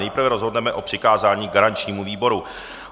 Nejprve rozhodneme o přikázání garančnímu výboru.